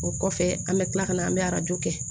O kɔfɛ an bɛ tila ka na an bɛ arajo kɛ